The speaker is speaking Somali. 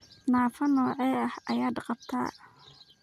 Naafo noocee ah ayaad qabtaa?